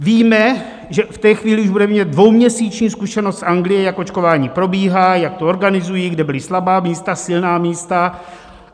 Víme, že v té chvíli už budeme mít dvouměsíční zkušenost z Anglie, jak očkování probíhá, jak to organizují, kde byla slabá místa, silná místa.